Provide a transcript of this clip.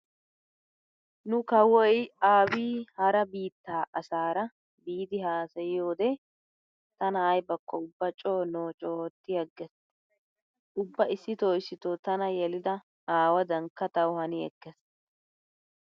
Nu kawoy aabiyyi hara biittaa asaara biidi haasayiyode tana aybakko ubba coo noocu ootti aggees. Ubba issito issito tana yelida aawadankka tawu hani ekkees.